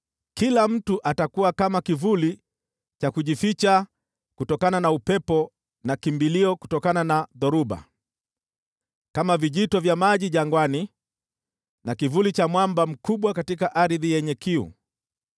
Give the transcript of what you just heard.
Kila mtu atakuwa kama kivuli cha kujificha kutokana na upepo na kimbilio kutokana na dhoruba, kama vijito vya maji jangwani na kivuli cha mwamba mkubwa katika ardhi yenye kiu.